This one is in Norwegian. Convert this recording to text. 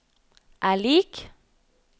er lik